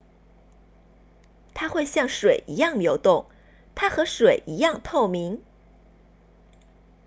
它会像水一样流动它和水一样透明